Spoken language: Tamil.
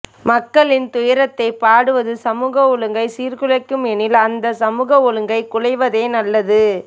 மக்களின் துயரத்தை பாடுவது சமூக ஒழுங்கை சீர்குலைக்கும் எனில் அந்த சமூக ஒழுங்கு குலைவதே நல்லது